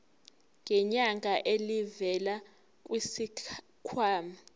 ngenyanga elivela kwisikhwama